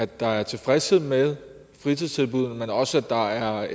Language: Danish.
der er tilfredshed med fritidstilbuddene men også at der er